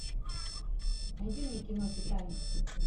найди мне кино титаник